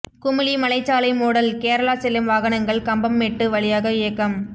குமுளி மலைச்சாலை மூடல் கேரளா செல்லும் வாகனங்கள் கம்பம்மெட்டு வழியாக இயக்கம்